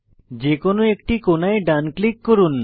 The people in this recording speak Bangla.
যে কোনো একটি কোণায় ডান ক্লিক করুন